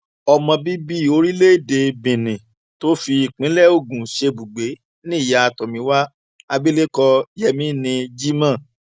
ọmọ bíbí orílẹèdè benin tó fi ìpínlẹ ogun ṣebùgbé ni ìyá tomiwa abilékọ yemini jimoh